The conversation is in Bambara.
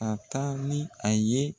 a taa ni a ye.